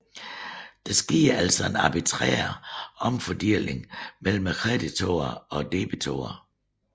Der sker altså en arbitrær omfordeling mellem kreditorer og debitorer